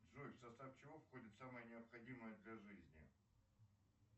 джой в состав чего входит самое необходимое для жизни